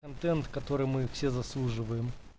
контент который мы все заслуживаем